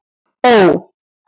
Ó